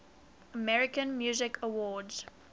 american music awards